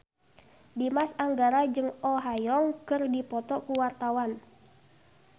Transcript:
Dimas Anggara jeung Oh Ha Young keur dipoto ku wartawan